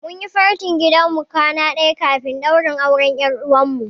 Mun yi fentin gidan mu kwana ɗaya kafin ɗaurin auren ƴar uwarmu.